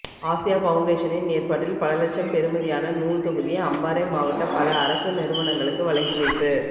Asia பவுண்டேஷனின் ஏற்பாட்டில் பல இலட்சம் பெறுமதியான நூல் தொகுதி அம்பாறை மாவட்ட பல அரச நிறுனங்களுக்கு வழங்கி வைப்பு